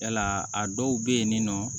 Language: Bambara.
Yala a dɔw bɛ yen nin nɔ